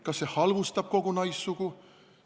Kas see halvustab kogu naissugu?